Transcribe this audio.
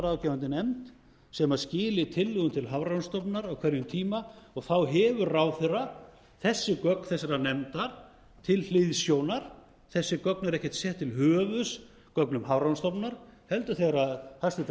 aflaráðgefandi nefnd sem skili tillögum til hafrannsóknastofnunar á hverjum tíma og þá hefur ráðherra þessi gögn þessarar nefndar til hliðsjónar þessi gögn eru ekkert sett til höfuðs gögnum hafrannsóknastofnunar heldur þegar hæstvirtur